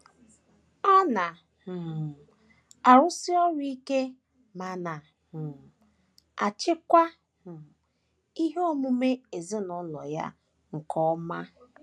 Ọ na um - arụsi ọrụ ike ma na um - achịkwa um ihe omume ezinụlọ ya nke ọma.